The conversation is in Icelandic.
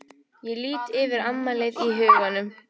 Ég lít yfir afmælið í huganum.